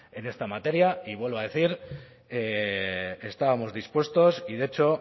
en esta materia y vuelvo a decir estábamos dispuestos y de hecho